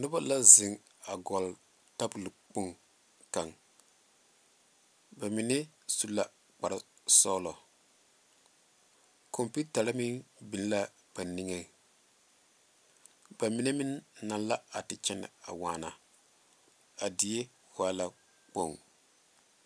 Noba la zeŋ a gɔgle tabol kpoŋ kaŋ ba mine su la kpare sɔglɔ konpitare meŋ biŋ la a niŋe ba mine meŋ naŋ la a te kyɛne waana a die waa la kpoŋ.